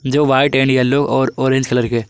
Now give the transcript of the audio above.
जो white and yellow और orange colour के--